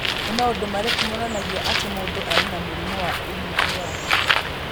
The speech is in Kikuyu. Nĩ maũndũ marĩkũ monanagia atĩ mũndũ arĩ na mũrimũ wa Woolly hair?